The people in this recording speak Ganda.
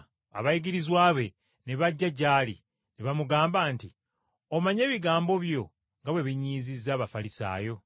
Abayigirizwa be ne bajja gy’ali ne bamugamba nti, “Omanyi ebigambo byo nga bwe binyiizizza Abafalisaayo?”